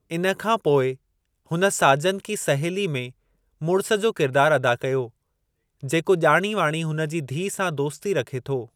इन खां पोइ हुन साजन की सहेली में मुड़िस जो किरिदारु अदा कयो जेको ॼाणी वाणी हुन जी धीअ सां दोस्ती रखे थो।